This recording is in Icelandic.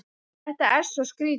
Þetta er svo skrýtið.